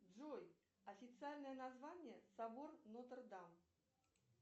джой официальное название собор нотр дам